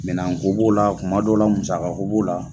Minan ko b'o la kuma dɔ la musaka ko b'o la